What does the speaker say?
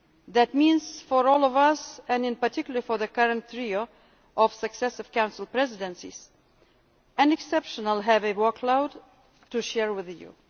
That means for all of us, and in particular for the current trio of successive Council Presidencies, an exceptionally heavy workload to share with you.